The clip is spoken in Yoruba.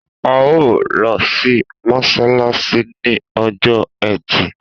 A o lọ sí mọsalasi ni ọjọ ẹtì